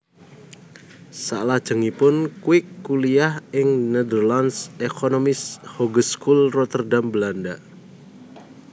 Salajengipun Kwik kuliyah ing Nederlandsche Economische Hogeschool Rotterdam Belanda